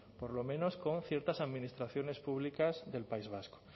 por lo menos con ciertas administraciones públicas del país vasco